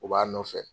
U b'a nɔfɛ